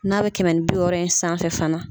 N'a bɛ kɛmɛ ni bi wɔɔrɔ in sanfɛ fana.